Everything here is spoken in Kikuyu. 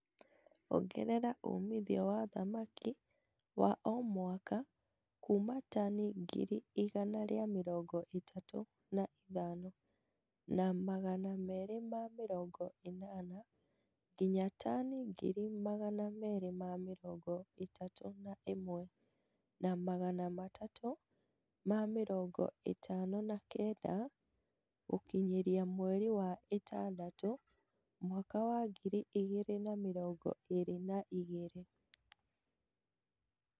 Ongerera umithio wa thamaki wa o mwaka kuuma tani ngiri igana rĩa mĩrongo ĩtatũ na ithano, na magana merĩ ma mĩrongo ĩnana nginya tani ngiri magana merĩ ma mĩrongo ĩtatu na ĩmwe, na Magana matatũ ma mĩrongo ĩtano na kenda gũkinyĩria mweri wa ĩtandatũ mwaka wa ngiri igĩrĩ na mĩrongo ĩri na igĩrĩ